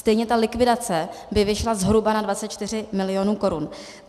Stejně ta likvidace by vyšla zhruba na 24 mil. korun.